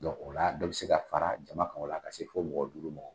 Dɔnku o la , dɔ bɛ se ka fara jama kan fɔ ka se fɔ mɔgɔ duuru ma.